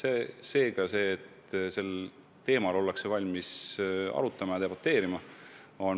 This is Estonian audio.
On väga vajalik, et sel teemal ollakse valmis arutama, debateerima.